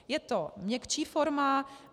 Je to měkčí forma.